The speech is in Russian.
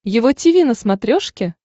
его тиви на смотрешке